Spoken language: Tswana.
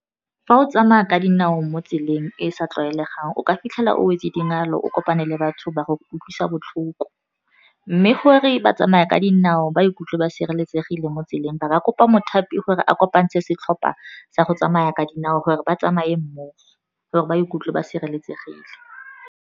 Fa o tsamaya ka dinao mo tseleng e e sa tlwaelegang, o ka fitlhela o wetse dingalo o kopane le batho ba go utlwisa botlhoko. Mme gore ba tsamaya ka dinao ba ikutlwe ba sireletsegile mo tseleng, ba ka kopa mothapi gore a kopantshe setlhopha sa go tsamaya ka dinao, gore ba tsamaye mmogo, gore ba ikutlwe ba sireletsegile.